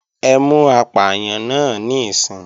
Ẹ mú apàyàn náà níìsín!